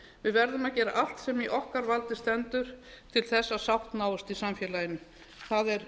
við verðum að gera allt sem í okkar valdi stendur til þess að sátt náist í samfélaginu það er